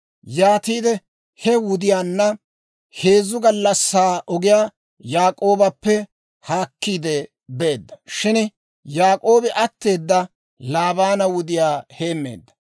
Yaatiide he wudiyaanna heezzu gallassaa ogiyaa Yaak'oobappe haakkiide beedda. Shin Yaak'oobi atteeda Laabaana wudiyaa heemmeedda.